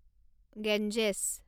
Ganges